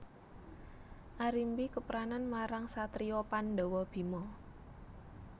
Arimbi kepranan marang satriya Pandhawa Bima